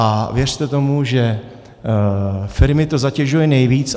A věřte tomu, že firmy to zatěžuje nejvíc.